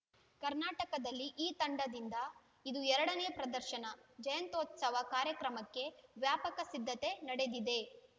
ಕರ್ನಾಕಟದಲ್ಲಿ ಈ ತಂಡದಿಂದ ಇದು ಎರಡನೇ ಪ್ರದರ್ಶನ ಜಯಂತ್ಯುತ್ಸವ ಕಾರ್ಯಕ್ರಮಕ್ಕೆ ವ್ಯಾಪಕ ಸಿದ್ಧತೆ ನಡೆದಿದೆ